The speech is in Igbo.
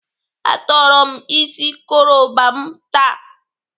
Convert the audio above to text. Atọrọ m isi koroba m taa.